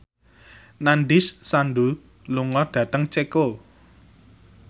Nandish Sandhu lunga dhateng Ceko